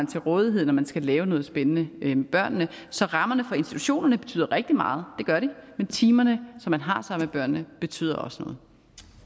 til rådighed når man skal lave noget spændende med børnene så rammerne for institutionerne betyder rigtig meget det gør de men timerne som man har sammen med børnene betyder også